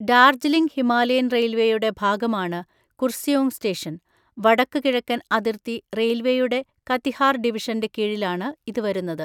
Darjeeling Himalayan റെയിൽവേയുടെ ഭാഗമാണ് Kurseong station, വടക്കുകിഴക്കൻ അതിർത്തി റെയിൽവേയുടെ കതിഹാർ ഡിവിഷന്റെ കീഴിലാണ് ഇത് വരുന്നത്.